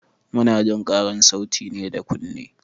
Munajin ƙarar sauti ne da kunne.